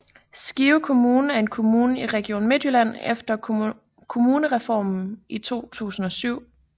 Skive Kommune er en kommune i Region Midtjylland efter Kommunalreformen i 2007